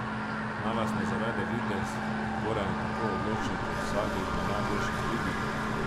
Naj vas ne zavede videz, Goran je tako odločen kot vsakdo izmed najboljših v ligi.